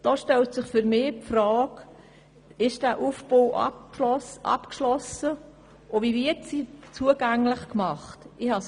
Dort frage ich mich, ob dieser Aufbau abgeschlossen ist und wie das zugänglich gemacht wird.